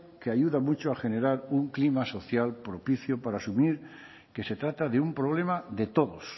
que ayuda mucho a generar un clima social propicio para asumir que se trata de un problema de todos